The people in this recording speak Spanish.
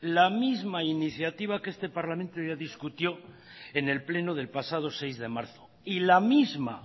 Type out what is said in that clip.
la misma iniciativa que este parlamento ya discutió en el pleno del pasado seis de marzo y la misma